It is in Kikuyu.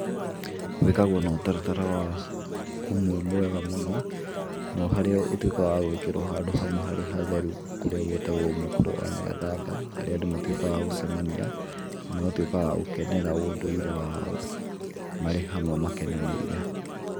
Wĩkagwo na ũtaratara ũmwe mwega mũno, no harĩa ũtuĩkaga wa gwĩkĩrwo handũ hamwe harĩa hatheru, kũrĩa gũĩtagwo Mũkũrwe Wa Nyagathanga, harĩa andũ matuĩkaga a gũcemania na agũkenera ũndũire wao marĩ hamwe makenanĩire.